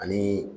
Ani